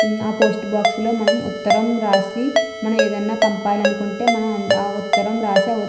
ఆ post box లో మనం ఉత్తరం రాసి మనం ఏదైనా పంపాలి అనుకుంటే మనం ఆ ఉత్తరం రాసి ఆ ఉత్ --